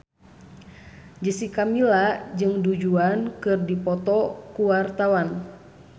Jessica Milla jeung Du Juan keur dipoto ku wartawan